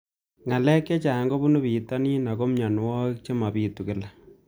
Ng'alek chechang' kopunu pitonin ako mianwogik che mapitu kila